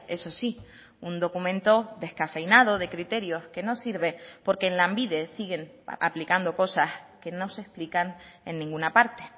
eso sí un documento descafeinado de criterios que no sirve porque en lanbide siguen aplicando cosas que no se explican en ninguna parte